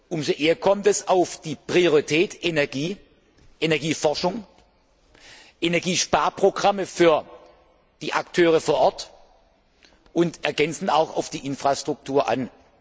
Umso mehr kommt es auf die Prioritäten Energie, Energieforschung, Energiesparprogramme für die Akteure vor Ort und ergänzend auch auf die Infrastruktur an.